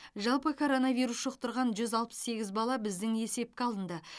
жалпы коронавирус жұқтырған жүз алпыс сегіз бала біздің есепке алынды